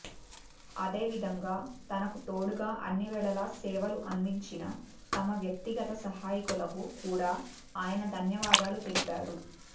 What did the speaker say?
అదే విధంగా తనకు తోడుగా అన్నివేళలా సేవలు అందించిన తమ వ్యక్తిగత సహాయకులకు కూడా ఆయన ధన్యవాదాలు తెలిపారు